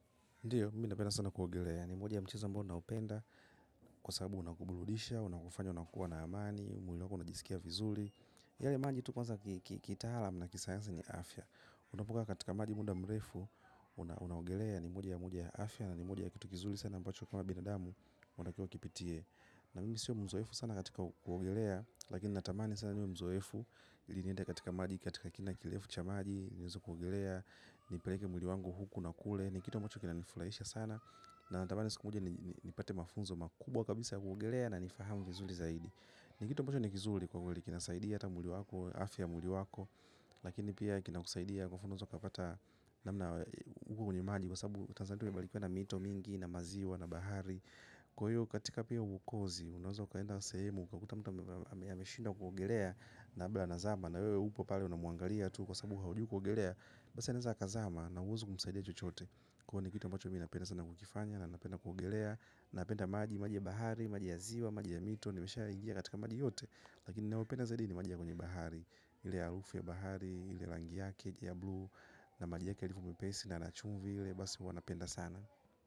Ndiyo, mimi napenda sana kuogelea. Ni moja ya mchezo ambao na upenda. Kwa sababu unakubludisha, unakufanya, unakua na amani, mwili wako unajisikia vizuli. Yale maji tu kwanza kitalam, na kisayansa ni afya. Unapokaa katika maji muda mrefu, unaogelea ni moja ya mwili ya afya, na ni moja ya kitu kizuli sana ambacho kama binadamu, unakuwa ukipitie. Na mimi siyo mzoefu sana katika kuogelea, lakini natamani sana niwe mzoefu, iliniende katika maji, katika kina kilefu cha maji, niweze kuogelea, nipeleke mwili wangu huku na kule ni kitu ambacho kina nifulaisha sana na natamani siku moja ni pate mafunzo makubwa kabisa ya kuogelea na nifahamu vizuli zaidi ni kitu ambacho nikizuli kwa mwili kinasaidia ata mwili wako, afya mwili wako lakini pia kinakusaidia kwa funzo kapata na mna uko kwenye maji kwa sabu tanzania tume balikiwa na mito mingi na maziwa na bahari kwa hiyo katika pia ukozi unazo kaenda kusehemu kakuta mta ameshindwa kuogelea na labda anazama na wewe upo pale unamwangalia tu kwa sababu haujui kuogelea basi anaweza akazama na huwezi kumsaidia chochote kwa hio ni kitu ambacho mi napenda sana kukifanya na napenda kuogelea napenda maji, maji ya bahari, maji ya ziwa, maji ya mito nimeshaingia katika maji yote lakini nayopenda zaidi ni maji ya kwenye bahari ili ya harufu ya bahari, ile ya rangi yakeji ya blue na maji yake yalivyo mepesi na yana chumvi ile basi huwa napenda sana.